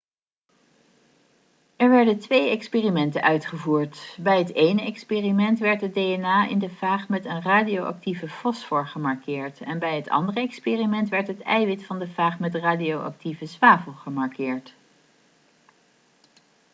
er werden twee experimenten uitgevoerd bij het ene experiment werd het dna in de faag met een radioactieve fosfor gemarkeerd en bij het andere experiment werd het eiwit van de faag met radioactieve zwavel gemarkeerd